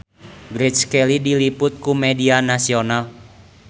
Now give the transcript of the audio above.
Grace Kelly diliput ku media nasional